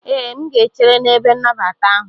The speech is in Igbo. Ee, M ga-echere n'ebe nnabata ahụ.